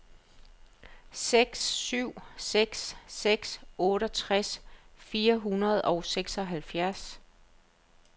seks syv seks seks otteogtres fire hundrede og seksoghalvfjerds